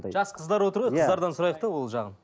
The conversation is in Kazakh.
жас қыздар отыр ғой қыздардан сұрайық та ол жағын